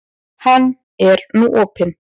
Hann er nú opinn.